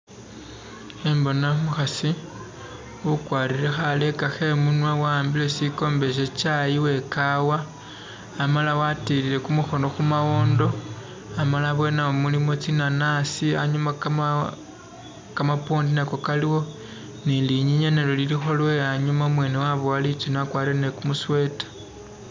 Khembona umuhasi ukwalire khaleka khemunwa wa'ambile sikombe shye Chayi we kawa amala watilile kumuhono khu mawondo, amala abweni nawo mulimo tsinanasi anyuma kamawo, kamapwondi nako kaliwo ni linyinya nalyo lilikho lwe anyuma, umwene wabowa litsune wakwalire ni kumu sweater.